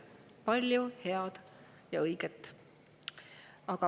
Palju head ja.